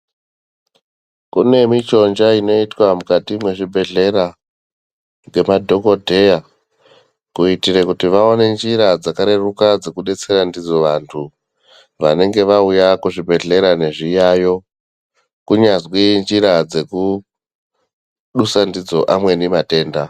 Kune michonja inoitwa mukati mwezvibhedhlera ngemadhokodheya, kuitire kuti vaone njira dzakareruka dzekubatsira ndidzo vantu, vanenge vauya kuzvibhedhlera nezviyayo, kunyazwi injira yekudusa ndidzoni amweni matenda.